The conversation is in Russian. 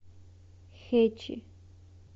хэчи